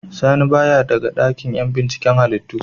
Sani baya daga dakin yan binciken halittu.